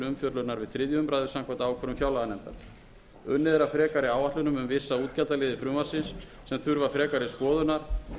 umfjöllunar við þriðju umræðu samkvæmt ákvörðun fjárlaganefndar unnið er að frekari áætlunum um vissa útgjaldaliði frumvarpsins sem þurfa frekari skoðunar